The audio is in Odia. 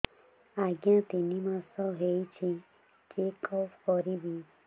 ଆଜ୍ଞା ତିନି ମାସ ହେଇଛି ଚେକ ଅପ କରିବି